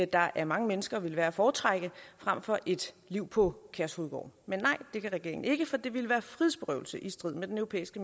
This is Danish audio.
der af mange mennesker ville være at foretrække frem for et liv på kærshovedgård men nej det kan regeringen ikke for det ville være frihedsberøvelse i strid med den europæiske